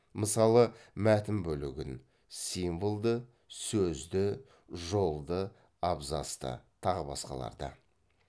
мысалы мәтін бөлігін символды сөзді жолды абзацты тағы басқаларды